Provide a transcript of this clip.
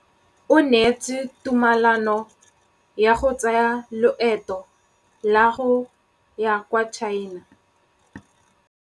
O neetswe tumalanô ya go tsaya loetô la go ya kwa China.